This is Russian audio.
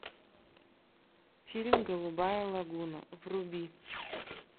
фильм голубая лагуна вруби